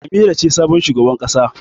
Amira ce sabon shugaban ƙasa.